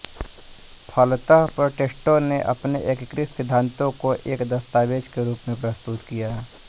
फलतः प्रोटेस्टेंटों ने अपने एकीकृत सिद्धांतों को एक दस्तावेज के रूप प्रस्तुत किया